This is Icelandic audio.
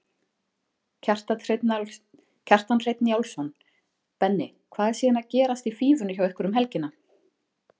Kjartan Hreinn Njálsson: Benni, hvað er síðan gerast í Fífunni hjá ykkur um helgina?